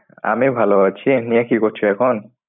আমি ভালো আছি। এমনি আর কি করছো এখন?